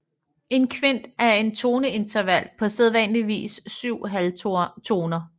En kvint er et toneinterval på sædvanligvis 7 halvtoner